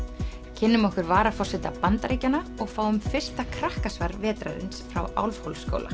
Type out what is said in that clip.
kynnum okkur varaforseta Bandaríkjanna og fáum fyrsta vetrarins frá